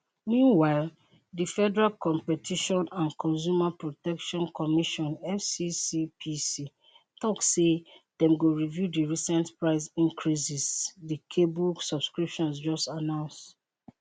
meanwhile di federal competition and consumer protection commission fccpc tok say dem go review di recent price increases di cable subscriptions just announce